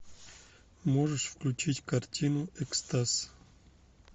можешь включить картину экстаз